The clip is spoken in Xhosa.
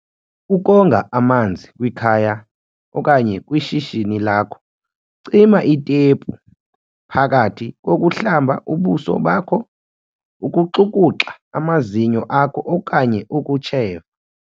Ukonga amanzi kwikhaya okanye kwishishini lakho Cima itepu phakathi kokuhlamba ubuso bakho, ukuxukuxa amazinyo akho okanye ukutsheva.